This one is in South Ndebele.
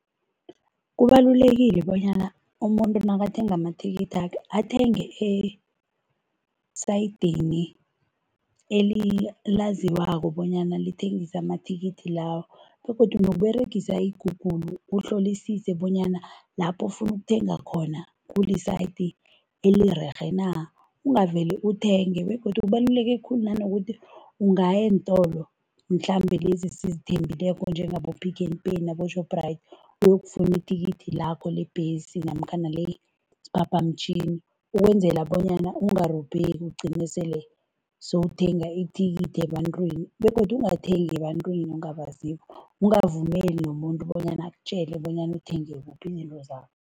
Kubalulekile bonyana umuntu nakathenga amathikithakhe athenge esayidini elilaziwako bonyana lithengisa amathikithi lawo begodu nokuberegisa i-Google kuhlolisise bonyana lapho ofuna ukuthenga khona, kuli-site elirerhe na, ungavele uthenge begodu kubaluleke khulu nanokuthi ungaya eentolo mhlambe lezi esizithembileko njengabo-Pick n Pay nabo-Shoprite uyokufuna ithikithi lakho lebhesi namkhana lesiphaphamtjhini, ukwenzela bonyana ungarobheki ugcine sele sowuthenga ithikithi ebantwini begodu ungathengi ebantwini ongabaziko, ungavumeli nomuntu bonyana akutjele bonyana uthenge kuphi izinto zakho.